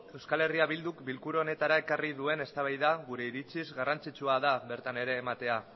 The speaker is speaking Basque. eh bilduk bilkura honetara ekarri duen eztabaida gure iritziz garrantzitsua da bertan ere ematea